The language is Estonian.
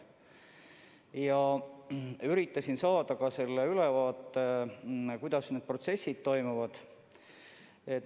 Ja ma üritasin saada ülevaate, kuidas need protsessid toimuvad.